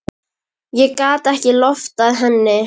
Ég gat ekki loftað henni.